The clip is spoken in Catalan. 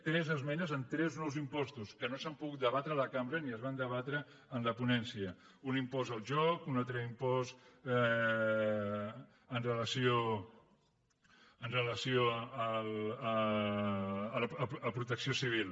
tres esmenes amb tres nous impostos que no s’han pogut debatre a la cambra ni es van debatre en la ponència un impost al joc un altre impost amb relació a protecció civil